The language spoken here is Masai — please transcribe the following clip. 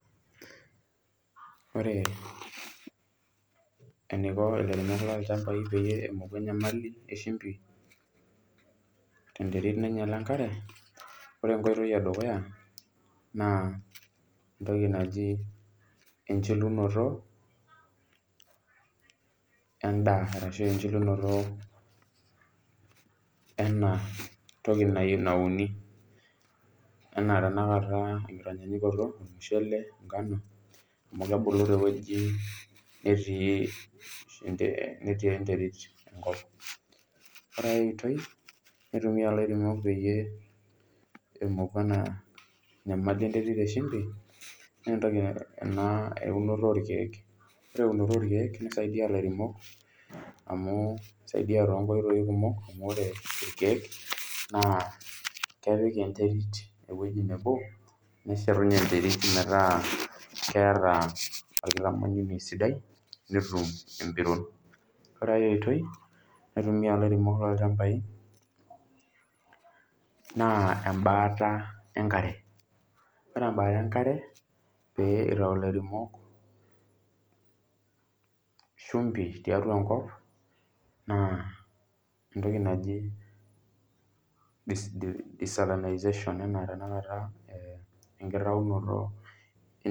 Ore eneiko ilairemok loo ilchambai peyie emoku inyamali eshimbi tenterit nainyala enkare, ore enkoitoi edukuya naa ntoki najii enchulunoto endaa arashu enchulunoto enatoki nani, naa tenakata enkitanyanyukoto irmushele, enkanu amu kebulu teweji netii interit. Ore aiotoi naitumiya ilairemok peyie emoku ena inyamali enterit eshimbi naa ntoki naa eunoto orkiek, ore eunoto orkiek neisaidiya ilairemok amuu eisaidia to nkoitoi kumok amu ore irkiek naa kepik enterit ewuehi nabo neshetunye interit metaa keata onkintanyuke sidai eitayu empiron. Ore engae oitoi naitumiya ilairemok loo ilchambai naa embaata enkare, ore embaata enkare pee eitau ialiremok ishumbi tiatua enkop naa ntoki naji desertirilisation anaa tenakata enkiraunoto.